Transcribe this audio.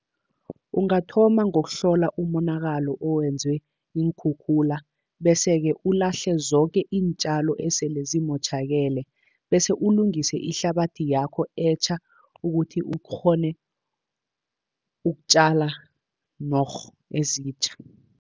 Ungathoma ngokuhlola umonakalo owenzwe iinkhukhula, bese-ke ulahle zoke iintjalo esele zimotjhakele, bese ulungise ihlabathi yakho etjha, ukuthi ukghone ukutjala norh ezitjha.